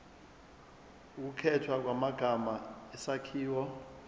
ukukhethwa kwamagama isakhiwo